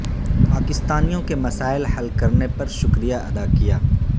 پاکستانیوں کے مسائل حل کرنے پر شکریہ ادا کیا